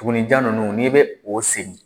Tugunninjan ninnu n'i bɛ o sen